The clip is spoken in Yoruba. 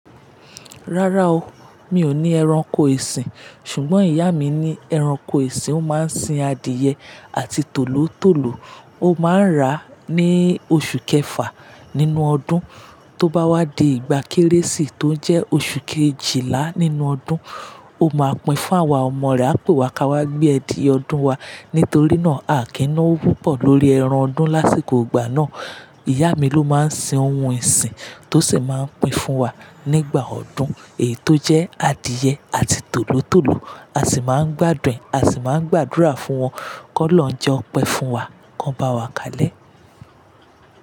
Rárá o, mi ò ní ẹranko ìsìn, ṣùgbọ́n ìyá mi ní ẹranko ìsìn, ó máa ń sin adìye àti tòlótòló, ó máa ń rà á ní oṣù kẹfà nínú ọdún, tó bá wá di ìgbà Kérésìmesì tó jẹ́ oṣù kejìlá nínú ọdún, ó máa pín fún àwa ọmọ rẹ̀ á pè wá ká wá gbé ẹdiye ọdún wa. Nítorí náà, àkínowo pupọ̀ lórí ẹran ọdún lásìkò ìgbà náà. Ìyá mi ló máa ń sin ohun ìsìn tó sì máa ń pín fún wa nígbà ọdún, èyí tó jẹ́ adìye àti tòlótòló. A sì máa ń gbádùn, a sì máa ń gbàdúrà fún wọn kó lọ jẹ ọpẹ́ fún wa, kó bá wa kalẹ́